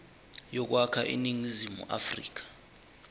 yokwakha iningizimu afrika